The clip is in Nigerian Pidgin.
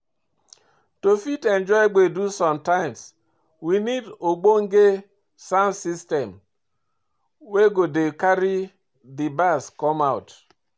To fit enjoy gbedu sometimes, we need ogbonge sound system wey go dey carry di bass come out